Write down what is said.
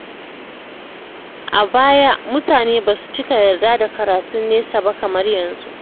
A baya, mutane ba su cika yarda da karatun nesa ba kamar yanzu.